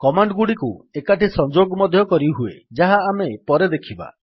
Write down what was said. command ଗୁଡିକୁ ଏକାଠି ସଂଯୋଗ ମଧ୍ୟ କରିହୁଏ ଯାହା ଆମେ ପରେ ଦେଖିବା